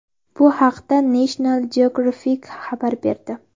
Bu haqda National Geographic xabar berdi.